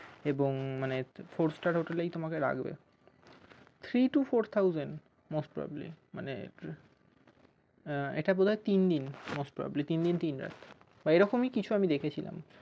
এবং মানে four star হোটেলে তোমাকে রাখবে three to four thousand most probably মানে এটা বোধয় তিন দিন most probably তিনদিন তিনরাত এইরকমই কিছু আমি দেখেছিলাম